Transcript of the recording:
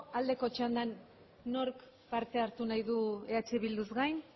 aldeko txandan nork parte hartu nahi du eh bilduz gain